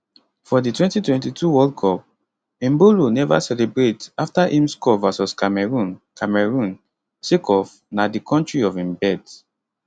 for di 2022 world cup embolo neva celebrate afta im score vs cameroon cameroon sake of na di kontri of im birth